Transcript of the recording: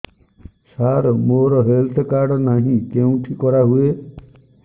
ସାର ମୋର health card ନାହିଁ କେଉଁଠି କରା ହୁଏ